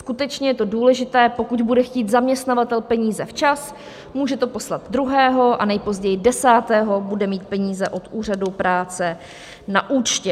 Skutečně je to důležité - pokud bude chtít zaměstnavatel peníze včas, může to poslat 2. a nejpozději 10. bude mít peníze od úřadu práce na účtě.